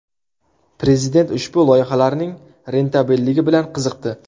Prezident ushbu loyihalarning rentabelligi bilan qiziqdi.